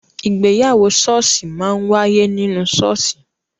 Ìgbéyàwó ṣọọṣi máa ń waiye ninu ṣọọṣi